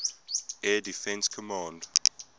air defense command